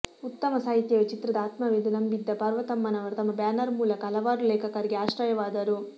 ಉತ್ತಮ ಸಾಹಿತ್ಯವೇ ಚಿತ್ರದ ಆತ್ಮವೆಂದು ನಂಬಿದ್ದ ಪಾರ್ವತಮ್ಮನವರು ತಮ್ಮ ಬ್ಯಾನರ್ ಮೂಲಕ ಹಲವಾರು ಲೇಖಕರಿಗೆ ಆಶ್ರಯವಾದರು